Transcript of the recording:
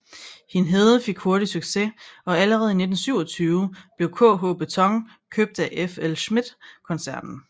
Hindhede fik hurtigt succes og allerede i 1927 blev KH Beton købt af FLSmidth koncernen